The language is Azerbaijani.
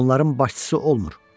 Onların başçısı olmur.